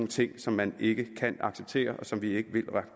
ting som man ikke kan acceptere og som vi ikke vil